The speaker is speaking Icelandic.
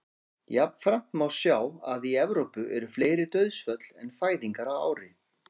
jafnframt má sjá að í evrópu eru fleiri dauðsföll en fæðingar á ári